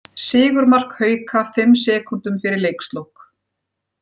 Sigurmark Hauka fimm sekúndum fyrir leikslok